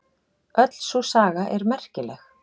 Öll sú saga er merkileg.